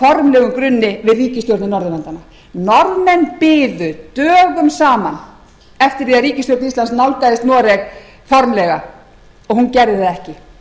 á formlegum grunni við ríkisstjórnir norðurlandanna norðmenn biðu dögum saman eftir því að ríkisstjórn íslands nálgaðist noreg formlega og hún gerði það ekki